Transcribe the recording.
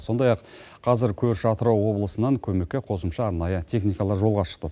сондай ақ қазір көрші атырау облысынан көмекке қосымша арнайы техникалар жолға шықты